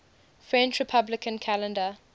french republican calendar